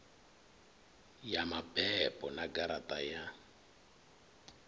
ya mabebo na garaṱa ya